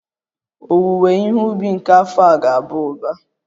Owuwe ihe ubi nke afọ a ga-aba uba